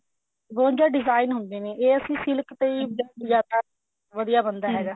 ਬਵੰਜਾ design ਹੁੰਦੇ ਨੇ ਇਹ ਅਸੀਂ silk ਤੇ design ਜਿਆਦਾ ਵਧੀਆ ਬਣਦਾ ਹੈਗਾ